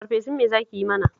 Farfesun me za ki yi mana?